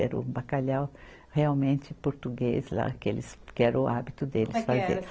Era o bacalhau realmente português lá, que eles, que era o hábito deles fazer. Como é que era